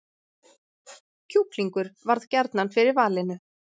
Kjúklingur varð gjarnan fyrir valinu